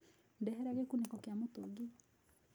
Ndehera gĩkunĩko kĩa mũtũngi.